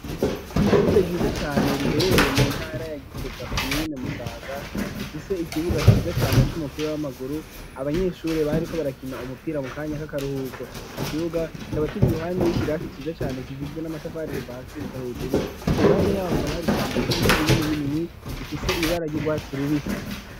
Kw'shuri ryiza cane riherereye mu ntara ya Gitega komine Musaga bifise ikibuga ciza cane c'umupira w'amaguru abanyeshuri bariko barakina umupira mu kanya kaka ruhuko ico kibuga kikaba kiri iruhande y'ikirasi ciza cane kigizwe n'amatafari kuva hasi gushika hejuru iruhande yaho hakaba hari ishamba ry'ibiti binini binini bifise ibibara ry'urwatsi rubisi